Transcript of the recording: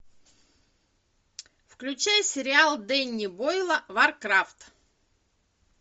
включай сериал дэнни бойла варкрафт